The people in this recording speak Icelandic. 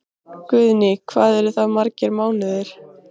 Guðný: Hvað eru það margir mánuðir?